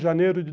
Janeiro de